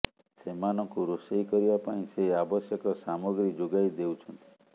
ସେମାନଙ୍କୁ ରୋଷେଇ କରିବା ପାଇଁ ସେ ଆବଶ୍ୟକ ସାମଗ୍ରୀ ଯୋଗାଇ ଦେଉଛନ୍ତି